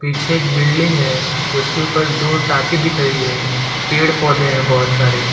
पीछे एक बिल्डिंग है उसके ऊपर दो टाके दिख रही है पेड़ पौधे हैं बहोत सारे --